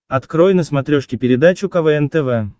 открой на смотрешке передачу квн тв